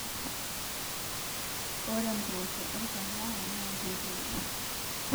Ore mboosho orkahawa na ketoiii